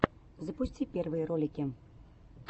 запусти первые ролики